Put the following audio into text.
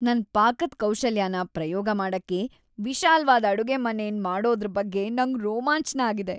ನನ್ ಪಾಕದ್ ಕೌಶಲ್ಯನ ಪ್ರಯೋಗ ಮಾಡಕ್ಕೆ ವಿಶಾಲ್ವಾದ ಅಡುಗೆಮನೆನ್ ಮಾಡೋದ್ರ ಬಗ್ಗೆ ನಂಗ್ ರೋಮಾಂಚ್ನ ಆಗಿದೆ.